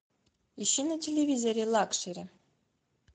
ищи на телевизоре лакшери